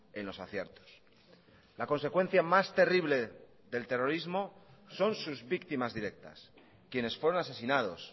en los aciertos la consecuencia más terrible del terrorismo son sus víctimas directas quienes fueron asesinados